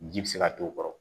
Ji bɛ se ka to o kɔrɔ